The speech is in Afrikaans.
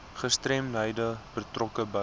gestremdhede betrokke by